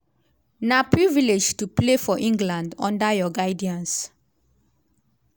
na privilege to play for england under your guidance.